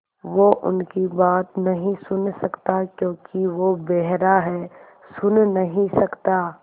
वो उनकी बात नहीं सुन सकता क्योंकि वो बेहरा है सुन नहीं सकता